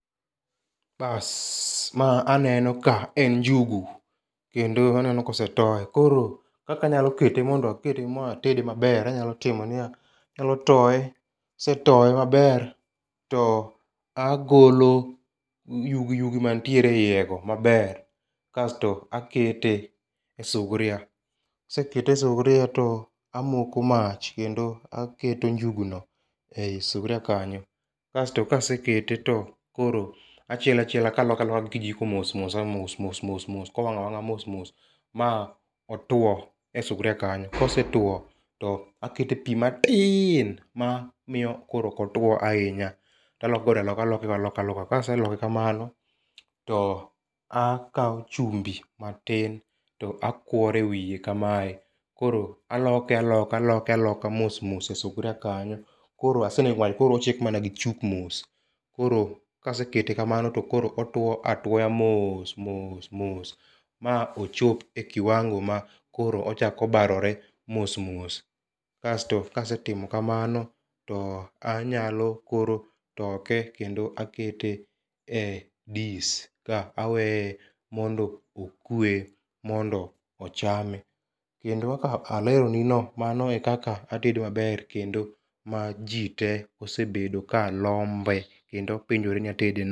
Bas ma aneno ka en njugu kendo aneno kosetoye .Koro kaka anyalo kete ma atede maber anyalo timo anyalo toye kasetoye maber to agolo yugiyugi mantiere e iye go kasto akete e suvria. Kasete e suvria to amoko mach kendo aketo njugu no e suvria kanyo, kasto kasekete to koro achielo kaloke aloka gi kijiko mosmos mos ka owang' awang'a mos mos maotwo e suvria kanyo. Kosetwo to akete pii matin ma miyo koro ok otwo ahinya taleko godo aloka taloke godo aloka. Kaseloke kamano takawo chumbi matin to akwore wiye kamae. Koro aloke aloke aloka mos mos e sufria kanyo koro asenego mach ochiek mana gi chuk mos. Koro kasekete kamano to koro otwo atwoya mos mos ma ochop e kiwango ma koro ochako barore mos. Kasto kasetimo kamano to anyalo koro toke kendo akete e dis ka aweye mondo okwe mondo ochame. Kendo kaka alero nino mano e kaka atedo maber ma jii tee osebedo ka lombe kendo penjore ni atede nade.